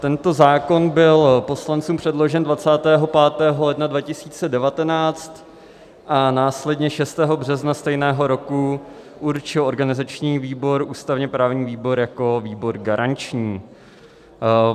Tento zákon byl poslancům předložen 25. ledna 2019 a následně 6. března stejného roku určil organizační výbor ústavně-právní výbor jako výbor garanční.